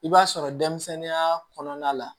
I b'a sɔrɔ denmisɛnninya kɔnɔna la